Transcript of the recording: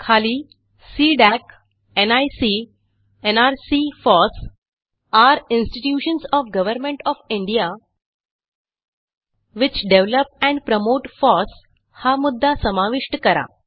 खाली CDAC NIC nrc FOSS are institutions of government of India which develop and promote FOSSहा मुद्दा समाविष्ट करा